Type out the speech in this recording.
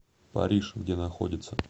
париж где находится